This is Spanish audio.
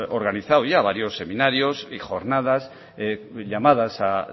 organizado ya varios seminarios y jornadas llamadas a